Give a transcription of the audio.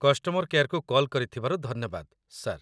Customer କେୟାର୍‌କୁ call କରିଥିବାରୁ ଧନ୍ୟବାଦ, ସାର୍ ।